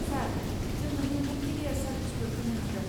सार, जों नोंथांनि केरियार सारबिसफोर होनो हागोन।